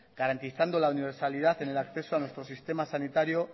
garantizando la universalidad en el acceso a nuestro sistema sanitario